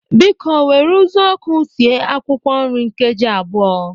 Biko were ụzụọkụ sie akwụkwọ nri nkeji abụọ.